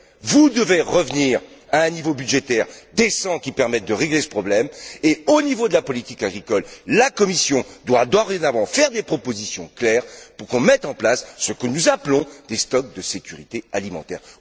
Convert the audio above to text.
Vous devez revenir à un niveau budgétaire décent, qui permette de régler ce problème et, au niveau de la politique agricole, la Commission doit, dorénavant, faire des propositions claires pour qu'on mette en place ce que nous appelons des stocks de sécurité alimentaire.